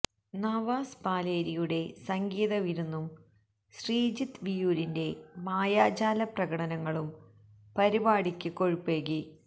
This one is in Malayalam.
നവാസ് പാലേരിയുടെ സംഗീത വിരുന്നും ശ്രീജിത്ത് വിയ്യൂരിന്റെ മായാജാല പ്രകടനങ്ങളും പരിപാടിക്ക് കൊഴുപ്പേകി